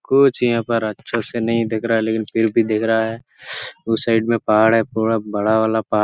कुछ यहाँ पर अच्छा से नहीं दिख रहा है लकिन फिर भी दिख रहा है उस साइड में पहाड़ है पूरा बड़ा वाला पहाड़--